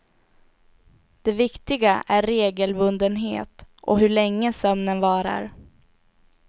Det viktiga är regelbundenhet och hur länge sömnen varar.